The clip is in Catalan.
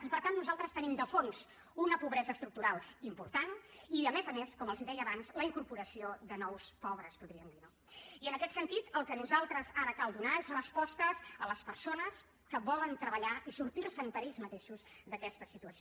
i per tant nosaltres tenim de fons una pobresa estructural important i a més a més com els deia abans la incorporació de nous pobres podríem dir no i en aquest sentit el que a nosaltres ara ens cal donar són respostes a les persones que volen treballar i sortir se’n per ells mateixos d’aquesta situació